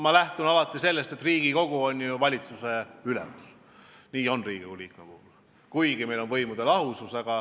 Mina lähtun alati sellest, et Riigikogu on ju valitsuse ülemus ja seda on ka Riigikogu iga liige, kuigi meil on võimude lahusus.